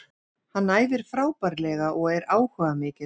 Hann æfir frábærlega og er áhugamikill.